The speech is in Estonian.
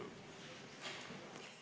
Istungi lõpp kell 12.48.